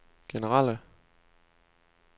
generelle